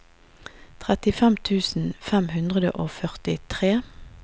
trettifem tusen fem hundre og førtitre